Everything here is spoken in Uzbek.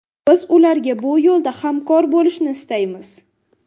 Biz ularga bu yo‘lda hamkor bo‘lishni istaymiz.